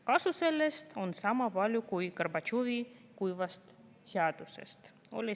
Kasu sellest on sama palju kui Gorbatšovi kuivast seadusest.